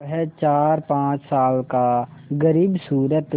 वह चारपाँच साल का ग़रीबसूरत